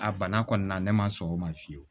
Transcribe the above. A bana kɔni na ne ma sɔn o ma fiyewu